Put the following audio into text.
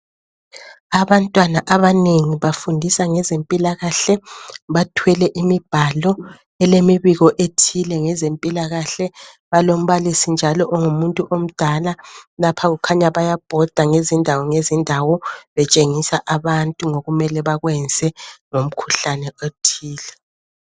Abantwana abanengi bafundisa ngezempilakahle .Bathwele imibhalo elemibiko ethile ngezempilakahle. Balombalisi njalo ongumuntu omdala .Lapha kukhanya bayabhoda ngezindawo ngezindawo .Betshengisa abantu ngokumele bakwenze ngomkhuhlane othile .